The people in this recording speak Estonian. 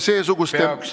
Ma peaks nüüd tänama ...